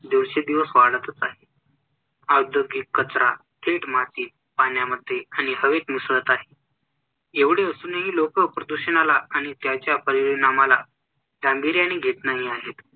दिवेसंदिवस वाढतच आहे, औद्योगिक कचरा थेट मातीत, पाण्यामध्ये आणि हवेत मिसळत आहे. एवढे असूनही लोक प्रदूषणाला आणि त्याच्या परिणामाला गांभीर्याने घेत नाही आहेत.